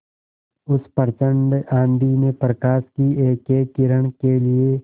उस प्रचंड आँधी में प्रकाश की एकएक किरण के लिए